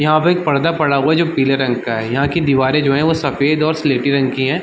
यहां पर एक पर्दा पड़ा है जो पीले रंग का यहां की दीवारें जो है वो सफेद और सलेटी रग की है।